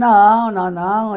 Não, não, não.